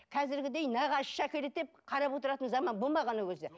қазіргідей нағашысы әкеледі деп қарап отыратын заман болмаған ол кезде